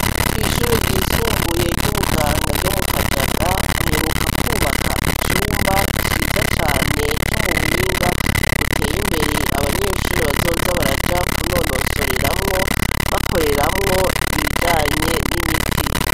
kw, ishuri ryisumbuye ry'ubuganga ryo mu kajaga baheruka kubaka icumba ciza cane co mu buhinga buteye imbere abanyeshuri bazoza baraja kunonosoreramwo bakoreramwo ibijanye n'imiti